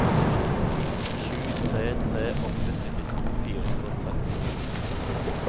sju tre tre åtte syttito fire hundre og tretti